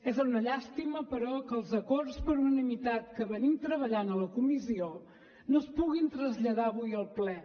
és una llàstima però que els acords per unanimitat que venim treballant a la comissió no es puguin traslladar avui al ple